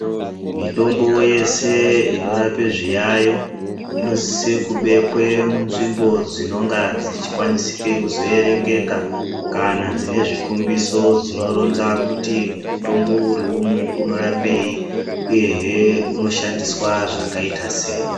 Mitombo yese inorape zviyayo inosise kubekwe munzvimbo dzinonga dzechikwanisike kuzoerengeka kana dzinezvikombiso dzinoronza kuti mutombo uriumwu unorapei uyehe unoshandiswa zvakaita sei.